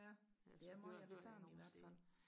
ja det er meget af det samme i hvert fald